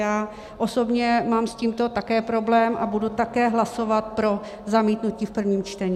Já osobně mám s tímto také problém a budu také hlasovat pro zamítnutí v prvním čtení.